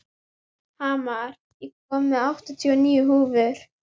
Hamar, ég kom með áttatíu og níu húfur!